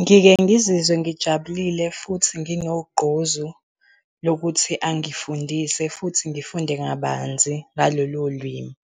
Ngike ngizizwe ngijabulile futhi nginogqozi lokuthi angifundise futhi ngifunde ngabanzi ngalolu limi.